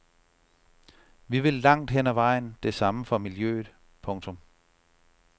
Vi vil langt hen ad vejen det samme for miljøet. punktum